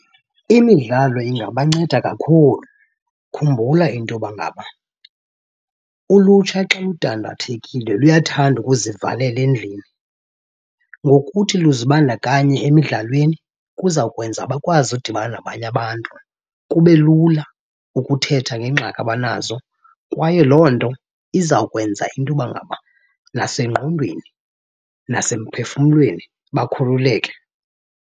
Imidlalo ingabanceda kakhulu. Khumbula into yoba ngaba ulutsha xa ludandathekile luyathanda ukuzivalela endlini. Ngokuthi luzibandakanye emidlalweni kuza kwenza bakwazi udibana nabanye abantu, kube lula ukuthetha ngeengxaki abanazo kwaye loo nto izawukwenza into yoba ngaba nasengqondweni nasemphefumlweni bakhululeke.